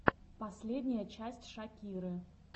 последняя часть шакиры